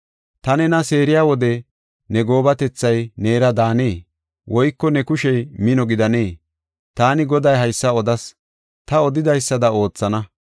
Ta nena seeriya wode ne goobatethay neera daanee? Woyko ne kushey mino gidanee? Taani Goday haysa odas; ta odidaysada oothana.